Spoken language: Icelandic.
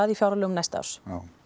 í fjárlögum næsta árs